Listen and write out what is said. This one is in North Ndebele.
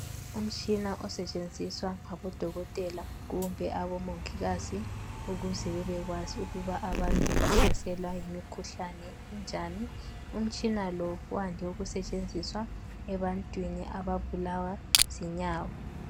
Umtshina osetshenziswa ngabodokotela Kumbe abomongikazi ukuze babekwazi ukuba abantu bahlaselwa yimikhuhlane enjani umtshina lo wande ukusetshenziswa ebantwini ababulawa zinyawo.